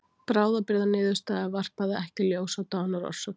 Bráðabirgðaniðurstaða varpaði ekki ljósi á dánarorsök